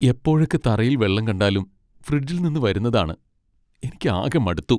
എപ്പോഴൊക്കെ തറയിൽ വെള്ളം കണ്ടാലും ഫ്രിഡ്ജിൽ നിന്ന് വരുന്നതാണ് . എനിക്ക് ആകെ മടുത്തു.